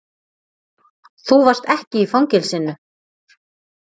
Þú varst ekki í fangelsinu.